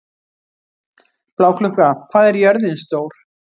Bláklukka, hvað er jörðin stór?